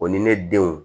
O ni ne denw